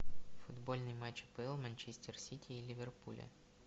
футбольный матч апл манчестер сити и ливерпуля